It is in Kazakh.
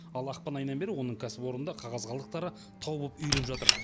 ал ақпан айынан бері оның кәсіпорнында қағаз қалдықтары тау болып үйіліп жатыр